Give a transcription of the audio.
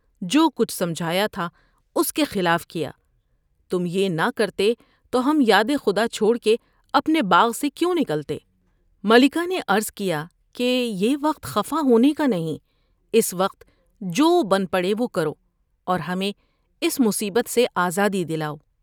جو کچھ سمجھایا تھا اس کے خلاف کیا۔ تم یہ نہ کرتے تو ہم یاد خدا چھوڑ کے اپنے باغ سے کیوں نکلتے '' ملکہ نے عرض کیا کہ یہ وقت خفا ہونے کا نہیں ۔اس وقت جو بن پڑے وہ کرو اور ہمیں اس مصیبت سے آزادی دلاؤ ۔